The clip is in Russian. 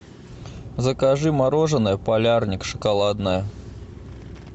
закажи мороженое полярник шоколадное